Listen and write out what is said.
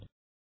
நன்றி